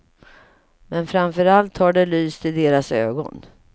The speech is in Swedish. Men framför allt har det lyst i deras ögon.